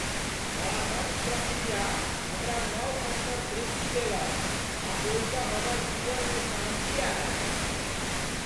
परामर्श प्रक्रिया हमरा नव अन्तर्दृष्टि देलक आ ओहिसँ हमर जीवनमे शान्ति आयल।